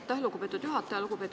Aitäh, lugupeetud juhataja!